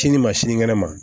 Sini ma sinikɛnɛ ma